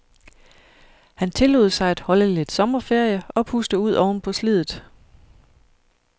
Han tillod sig at holde lidt sommerferie og puste ud ovenpå sliddet.